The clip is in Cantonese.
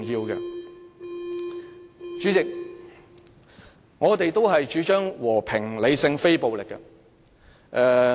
代理主席，我們主張和平理性非暴力。